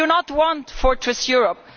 We do not want Fortress Europe'.